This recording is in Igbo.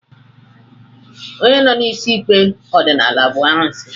Onye nọ n'isi ikpe ọdịnala bụ arụsị